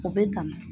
O bɛ dan